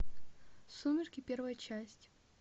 сумерки первая часть